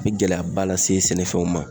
Bi gɛlɛyaba lase sɛnɛfɛnw ma.